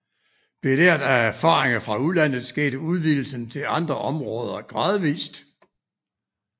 Belært af erfaringer fra udlandet skete udvidelsen til andre områder gradvist